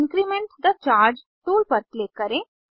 increment the charge tool पर click करें